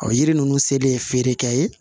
O yiri ninnu se de ye feerekɛ ye